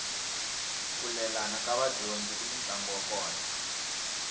ku lelana ka vadyondzi kuni ntlangu wa kona